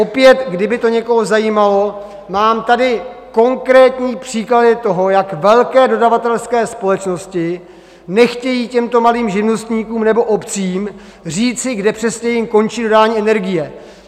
Opět kdyby to někoho zajímalo, mám tady konkrétní příklady toho, jak velké dodavatelské společnosti nechtějí těmto malým živnostníkům nebo obcím říci, kdy přesně jim končí dodání energie.